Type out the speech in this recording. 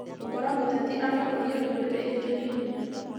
gũkora mũteti ũrakũrĩa ndũrĩrĩ ingĩ nĩ hinya